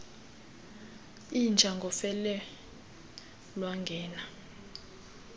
inja ngofele lwangena